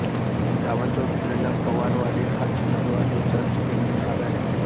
गावाच्या उत्तरेला पवारवाडी हा चिखलवाडीचाच एक भाग आहे